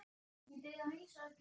Ég bið að heilsa öllum.